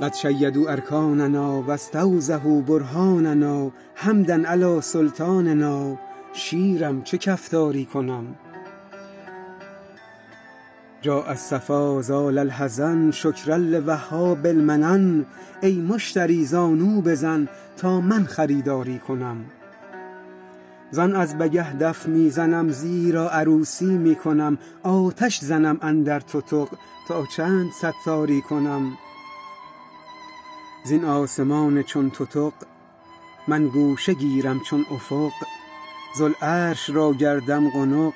قد شیدوا ارکاننا و استوضحوا برهاننا حمدا علی سلطاننا شیرم چه کفتاری کنم جاء الصفا زال الحزن شکرا لوهاب المنن ای مشتری زانو بزن تا من خریداری کنم زان از بگه دف می زنم زیرا عروسی می کنم آتش زنم اندر تتق تا چند ستاری کنم زین آسمان چون تتق من گوشه گیرم چون افق ذوالعرش را گردم قنق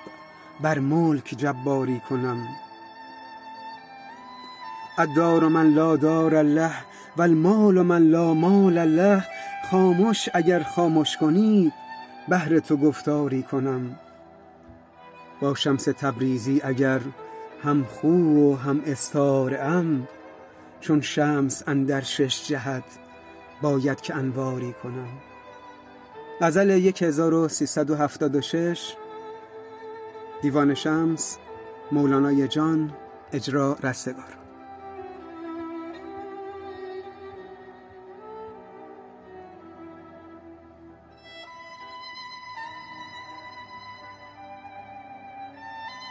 بر ملک جباری کنم الدار من لا دار له و المال من لا مال له خامش اگر خامش کنی بهر تو گفتاری کنم با شمس تبریزی اگر همخو و هم استاره ام چون شمس اندر شش جهت باید که انواری کنم